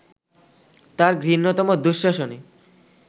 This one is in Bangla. তার ঘৃণ্যতম দুঃশাসনে